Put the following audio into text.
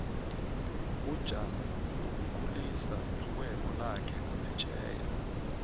ujan uyokukhulisa irhwebo lakhe ngaphetjheya